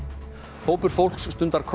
hópur fólks stundar